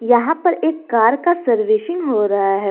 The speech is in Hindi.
यहां पर एक कार का सर्विसशिग हो रहा है।